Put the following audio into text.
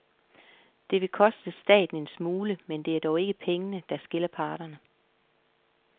Det vil koste staten en smule, men det er dog ikke pengene, der skiller parterne.